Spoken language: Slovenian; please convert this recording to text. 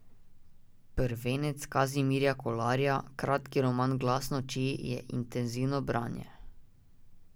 Prvenec Kazimirja Kolarja, kratki roman Glas noči, je intenzivno branje.